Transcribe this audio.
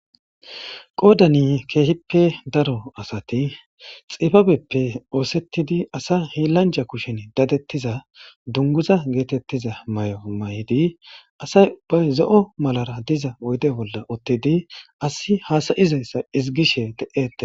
qoodani keehippe daro asati xibabeppe oosettidi asa hiilanja kushen dadettiza dunguza geetettiza may7o may7idi asay ubbay zo7o malara diza woyde bolla ottidi asi haasayizayssa izigishe de7ete